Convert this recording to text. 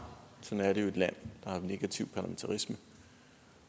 sådan er det jo i et land der har negativ parlamentarisme